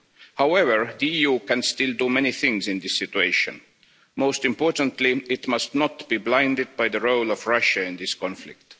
However, the EU can still do many things in this situation. Most importantly, it must not be blinded by the role of Russia in this conflict.